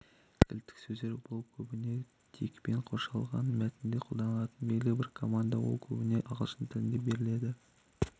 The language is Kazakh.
кілттік сөздер бұл көбіне тегпен қоршалған мәтінге қолданылатын белгілі бір команда ол көбіне ағылшын тілінде беріледі